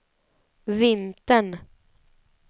vintern